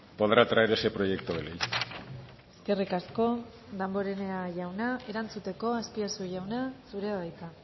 podrá traer ese proyecto de ley eskerrik asko damborenea jauna erantzuteko azpiazu jauna zurea da hitza